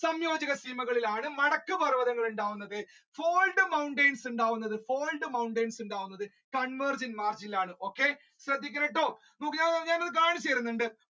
സംയോജക സീമ കളിലാണ് നടക്കു പർവതങ്ങൾ ഉണ്ടാകുന്നത് gold mountains ഉണ്ടാകുന്നത് gold mountains ഉണ്ടാകുന്നത് convergent margin ഇലാണ് ശ്രദ്ധിക്കണം കേട്ടോ ഞങ്ങൾ കാണിച്ചു തരുന്നുണ്ട്.